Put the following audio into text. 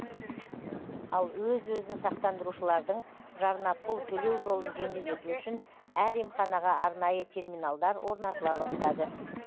ал өз өзін сақтандырушылардың жарнапұл төлеу жолын жеңілдету үшін әр емханаға арнайы терминалдар орнатыла бастады